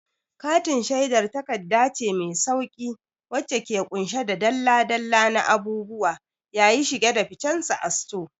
Katin shedar takarda ce mai sauƙi wacce ke ƙunshe da dalla-dalla na abubuwa yayi shige da ficensu a sito.